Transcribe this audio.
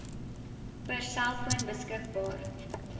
per selfoon beskikbaar